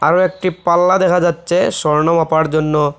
আরও একটি পাল্লা দেখা যাচ্ছে স্বর্ণ মাপার জন্য।